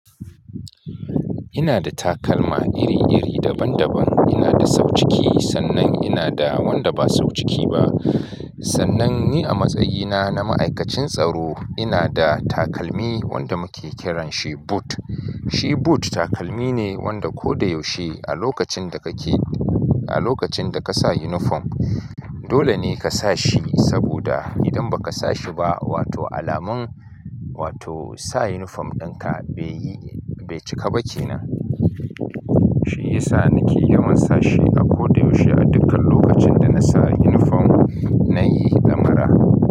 Ina da takalma iri-iri daban-daban. Ina da sau ciki, sannan ina da wanda ba sau ciki ba. Sannan ni a matsayina na ma'aikacin tsaro, ina da takalmi wanda muke kiranshi boot. Shi boot takalmi ne wanda ko da yaushe a lokacin da ka ke, a lokacin da ka sa uniform, dole ne ka sa shi saboda idan ba ka sa shi ba, wato alamun, wato sa uniform ɗinka bai yi, bai cika ba kenan. Shi yasa ni ke yawan sa shi a ko da yaushe a dukkan lokacin da na sa uniform nayi ɗamara.